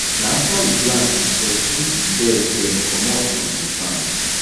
na after we plant we pursue di bird dem comot from di farm